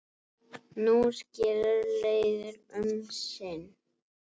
Nú skilur leiðir um sinn.